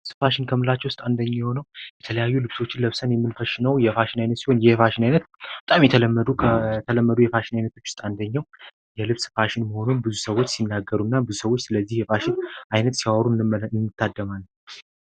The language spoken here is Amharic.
ፋሽን ከምናቸው ውስጥ አንዱ የሚሆነው የተለያዩ ልብሶች ለብሰን የምናየው የፋሽን አይነት ሲሆን ይህ የፋሽን አይነት ሰዎች ሲናገሩ የልብስ ፋሽን አንደኛው የፋሽን አይነት እንደሆነ ሲያወሩን እንመለከታለን።